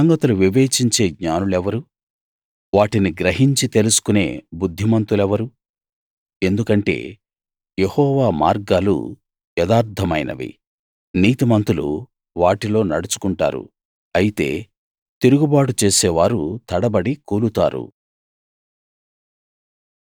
ఈ సంగతులు వివేచించే జ్ఞానులెవరు వాటిని గ్రహించి తెలుసుకునే బుద్ధిమంతులెవరు ఎందుకంటే యెహోవా మార్గాలు యథార్థమైనవి నీతిమంతులు వాటిలో నడుచుకుంటారు అయితే తిరుగుబాటు చేసేవారు తడబడి కూలుతారు